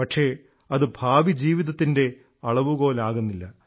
പക്ഷേ അതു ഭാവിജീവിതത്തിൻറെ അളവുകോൽ ആകുന്നില്ല